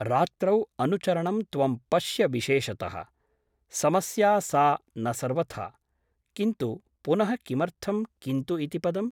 रात्रौ अनुचरणं त्वं पश्य विशेषतः समस्या सा न सर्वथा । किन्तु पुनः किमर्थं किन्तु इति पदम् ?